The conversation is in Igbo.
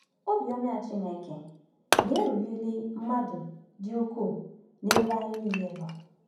Obiọma Chineke na-erughịrị mmadụ dị ukwuu n’ebe anyị nile nọ.